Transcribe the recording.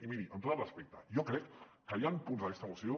i miri amb tot el respecte jo crec que hi ha punts d’aquesta moció